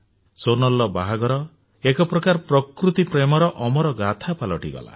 ସୋନାଲର ବାହାଘର ଏକ ପ୍ରକାର ପ୍ରକୃତି ପ୍ରେମର ଅମର ଗାଥା ପାଲଟିଗଲା